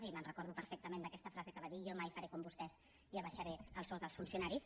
i me’n recordo perfectament d’aquesta frase que va dir jo mai faré com vostès i abaixaré el sou dels funcionaris